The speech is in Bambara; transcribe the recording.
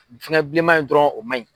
Fɛnkɛ bilenman in dɔrɔn o man ɲi.